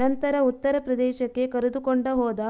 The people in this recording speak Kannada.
ನಂತರ ಉತ್ತರ ಪ್ರದೇಶಕ್ಕೆ ಕರೆದುಕೊಂಡ ಹೋದ